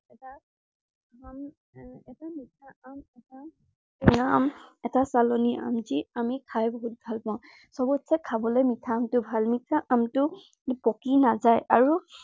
এটাা মিঠা আম, এটা টেঙা আম, এটা আম। যি আমি খাই বহুত ভাল পাওঁ। সৱতচে খাবলৈ মিঠা আমটো ভাল। মিঠা আমটো পকি নাযায়, আৰু